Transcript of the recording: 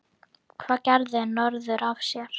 Hvað gerði norður af sér?